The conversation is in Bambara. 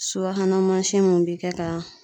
Subahana mansin mun bi kɛ ka